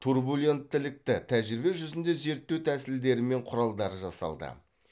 турбуленттілікті тәжірибе жүзінде зерттеу тәсілдері мен құралдары жасалды